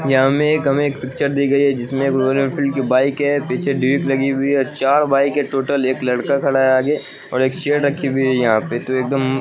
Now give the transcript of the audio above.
यहाँ हमें हमें एक पिक्चर दि गई है जिसमें रॉयल एनफील्ड की बाइक है पीछे लगी हुई है चार बाइक है टोटल एक लड़का खड़ा है आगे और एक चेयड़ रखी हुई है यहाँ पे तो एदम --